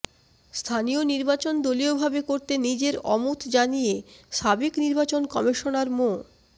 স্থানীয় নির্বাচন দলীয়ভাবে করতে নিজের অমত জানিয়ে সাবেক নির্বাচন কমিশনার মো